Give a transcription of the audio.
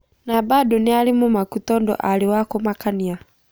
Na bado nĩarĩ mũmaku tondũ arĩwakũmakania.